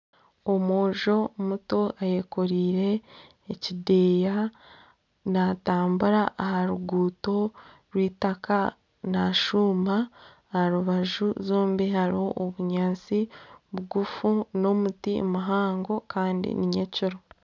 Omwojo muto ayekoreire ekideya natambura aha ruguuto rw'itaka nashuuma aharubaju zombi hariho obunyaatsi bugufu n'omuti muhango Kandi ni nyekiro